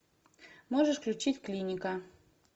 можешь включить клиника